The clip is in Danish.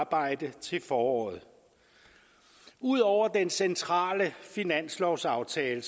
arbejde til foråret ud over den centrale finanslovsaftale